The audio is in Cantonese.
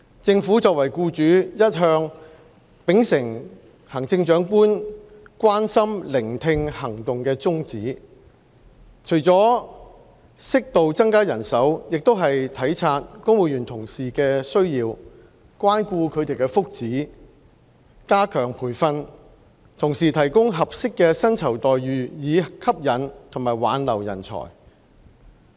政府作為僱主，一向秉承行政長官"關心、聆聽、行動"的宗旨，除了適度增加人手，亦體察公務員同事的需要，關顧他們的福祉，加強培訓，同時提供合適的薪酬待遇以吸引和挽留人才。